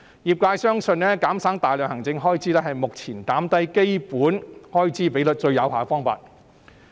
業界相信減省大量行政開支是目前減低基本開支比率最有效的方法。